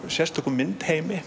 sérstökum